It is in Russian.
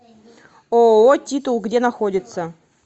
ооо титул где находится